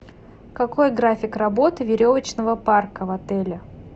какой график работы веревочного парка в отеле